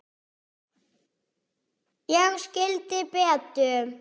Ég skildi Betu.